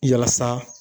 Yalasa